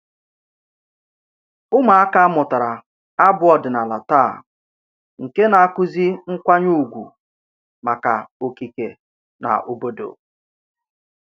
Ụmụaka mụtara abụ ọdịnala taa nke na-akụzi nkwanye ùgwù maka okike na obodo